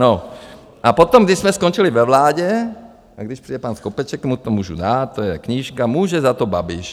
N a potom, když jsme skončili ve vládě, a když přijde pan Skopeček, mu to můžu dát, to je knížka Může za to Babiš.